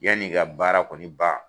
Yanni ka baara kɔni ban